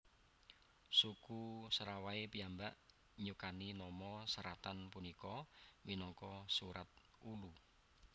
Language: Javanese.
Suku Serawai piyambak nyukani nama seratan punika minangka Surat Ulu